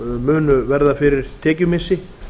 munu verða fyrir tekjumissi